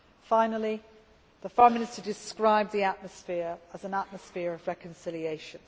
Finally, the Foreign Minister described the atmosphere as an atmosphere of reconciliation.